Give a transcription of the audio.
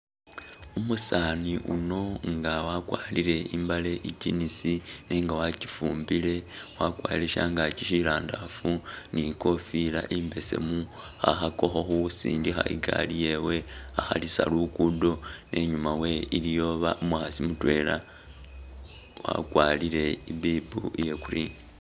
Umusani uno nga wakwarile imbale i'jeans nenga wachifumbile wakwarile shangaki sirandafu ni' kofila imbesemu khakhakakho khusindilha ingali yewe akhalisa luggudo inyuma wewe liyi umukhasi mutwela wakwarile ibibu iya green